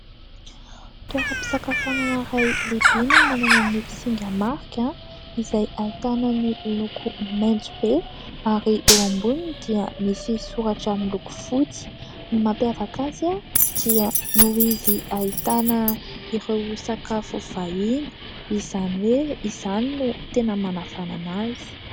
Toeram-pisakafoanana iray lehibe no manana ny singa marika izay ahitana ny loko maitso be ary eo amboniny dia misy soratra miloko fotsy. Ny mampiavaka azy dia noho izy ahitana ireo sakafo vahiny, izany hoe izany no tena manavanana azy.